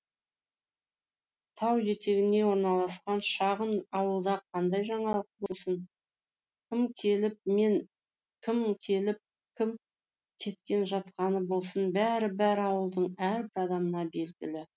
тау етегіне орналасқан шағын ауылда қандай жаңалық болсын кім келіп кім кетіп жатқаны болсын бәрі бәрі ауылдың әрбір адамына белгілі